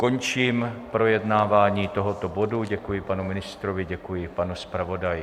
Končím projednávání tohoto bodu, děkuji panu ministrovi, děkuji panu zpravodaji.